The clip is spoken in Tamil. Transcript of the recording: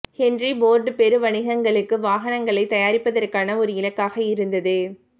ஹென்றி ஃபோர்டு பெருவணிகங்களுக்கு வாகனங்களை தயாரிப்பதற்கான ஒரு இலக்காக இருந்தது